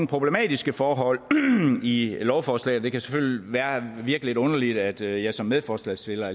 problematiske forhold i lovforslaget det kan selvfølgelig virke lidt underligt at jeg jeg som medforslagsstiller